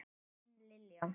Þín, Lilja.